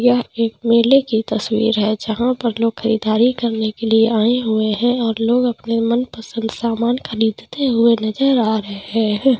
यह एक मेले की तस्वीर हैं जहा पर लोग खरीददारी करने के लिए आय हुए हैं और लोग अपने मन पसंद सामान ख़रीदते हुए नज़र आ रहे हैं।